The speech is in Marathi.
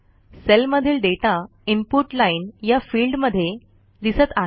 सेलमधील डेटा इनपुट लाईन या फिल्डमध्ये दिसत आहे